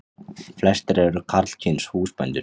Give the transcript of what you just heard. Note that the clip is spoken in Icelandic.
Flestir eru karlkyns húsbændur.